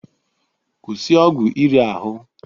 Kwụsị ọgwụ iri ahụ!